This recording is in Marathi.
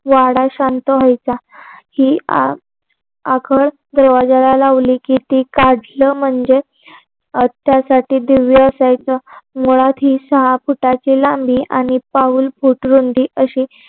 वाडा शांत व्हायचा ही आकल दरवाजाला लावली की ती काढणं म्हणजे त्यासाठी दिव्य असायच मुळात ही सहा फुटाची लांबी आणि पाऊलफूट रुंदी अशी